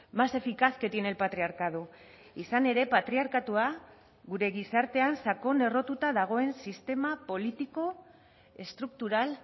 más eficaz que tiene el patriarcado izan ere patriarkatua gure gizartean sakon errotuta dagoen sistema politiko estruktural